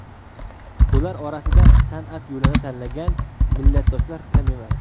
Ular orasida san’at yo‘lini tanlagan millatdoshlar kam emas.